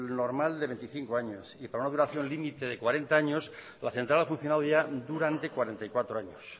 normal de veinticinco años y para una duración límite de cuarenta años la central ha funcionado ya durante cuarenta y cuatro años